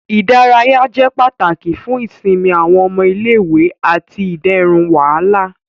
Ìdárayá jẹ pàtàkì fún ìsinmi awọn ọmọ ilé-ìwé ati iderun wàhálà.